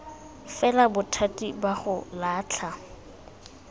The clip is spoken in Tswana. fela bothati ba go latlha